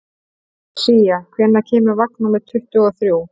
Sía, hvenær kemur vagn númer tuttugu og þrjú?